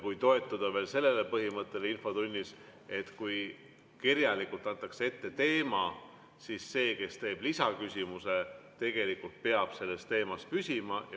toetuda ka sellele infotunni põhimõttele, et kui teema on kirjalikult ette antud, siis see, kes teeb lisaküsimuse, peab tegelikult selles teemas püsima.